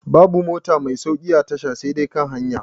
Babu mota mai sauƙi a tasha sai dai kan hanya